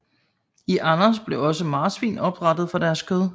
I Andes blev også marsvin opdrættet for deres kød